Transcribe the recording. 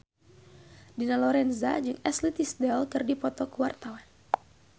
Dina Lorenza jeung Ashley Tisdale keur dipoto ku wartawan